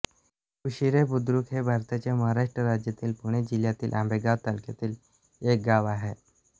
कुशिरेबुद्रुक हे भारताच्या महाराष्ट्र राज्यातील पुणे जिल्ह्यातील आंबेगाव तालुक्यातील एक गाव आहे